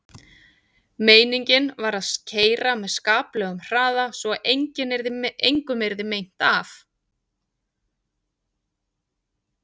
Meiningin var að keyra með skaplegum hraða svo að engum yrði meint af.